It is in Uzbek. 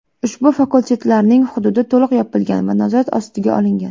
Ushbu fakultetlarning hududi to‘liq yopilgan va nazorat ostiga olingan.